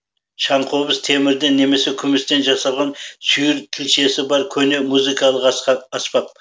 шаңқобыз темірден немесе күмістен жасалған сүйір тілшесі бар көне музыкалық аспап